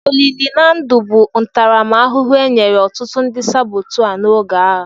Olili na ndụ bụ ntaramahụhụ e nyere ọtụtụ ndị sabọtua n'oge agha.